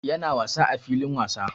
Ya na wasa a filin wasa